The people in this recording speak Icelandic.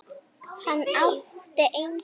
Hann átti engin börn.